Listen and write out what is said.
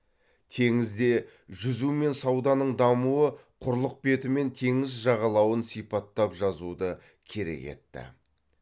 теңізде жүзу мен сауданың дамуы құрлық беті мен теңіз жағалауын сипаттап жазуды керек етті